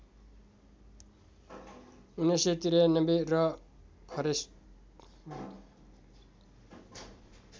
१९९३ र फरेस्ट